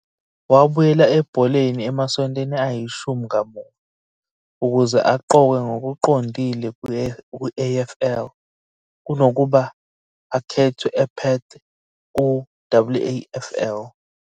Wabuyela ebholeni emasontweni ayi-10 kamuva, ukuze aqokwe ngokuqondile ku-AFL, kunokuba akhethwe ePerth ku-WAFL.